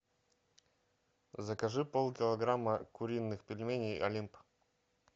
закажи полкилограмма куриных пельменей олимп